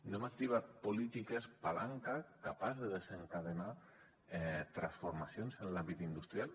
no hem activat polítiques palanca capaces de desencadenar transformacions en l’àmbit industrial